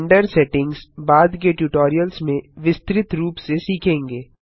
render settings बाद के tutorials में विस्तृत रूप से सीखेंगे